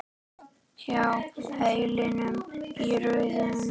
Hjá hælinu í hrauni.